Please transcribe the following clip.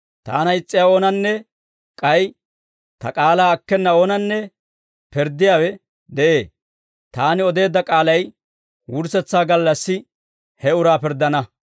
Taana is's'iyaa oonanne k'ay Ta k'aalaa akkena oonanne pirddiyaawe de'ee. Taani odeedda k'aalay wurssetsaa gallassi he uraa pirddana.